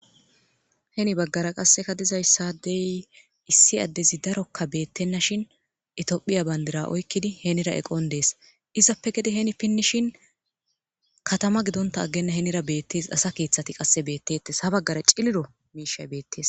heni baggara qasseka dizayssadey issi addezi darokka beettenna shin itiyophiya bandira oykkidi henira eqon dees izappe gede heni pinnishin katama gidonta aggenna henira beettees asa keeththati qasse beettettes ha baggara ciliro miishay beettees